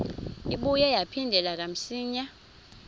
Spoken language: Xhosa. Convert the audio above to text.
ibuye yaphindela kamsinya